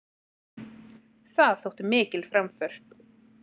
Það þótti mikil framför.